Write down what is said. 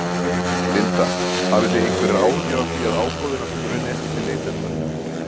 Linda: Hafið þið einhverjar áhyggjur af því að ágóðinn af þessu renni ekki til neytenda?